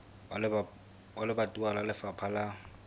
wa lebatowa wa lefapha la